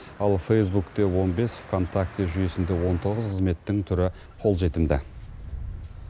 ал фейзбукте он бес вконтакте жүйесінде он тоғыз қызметтің түрі қолжетімді